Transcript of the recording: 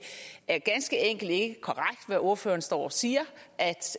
er ganske enkelt ikke korrekt hvad ordføreren står og siger